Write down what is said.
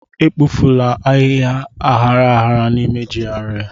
Ekpofukwala ahịhịa aghara aghara n'ime GRA!